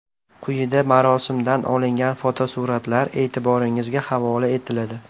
Quyida marosimdan olingan fotosuratlar e’tiboringizga havola etiladi.